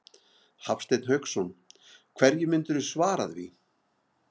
Hafsteinn Hauksson: Hverju myndirðu svara því?